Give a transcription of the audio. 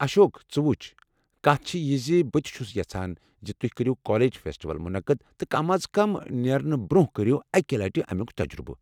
اشوک ژٕ وُچھ ، کتھ چھِ یہِ زِ بہٕ تہِ چھُس یژھان زِ تُہۍ کٔرِو کالج فیٚسٹول مُنعقد تہٕ كم از كم نیرنہٕ برونہہ كرِیو اكہِ لٕٹہِ امُیك تجرُبہٕ ۔